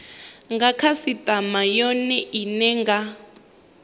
nga khasitama yone ine nga